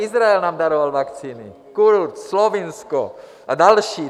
Izrael nám daroval vakcíny, Kurz, Slovinsko a další.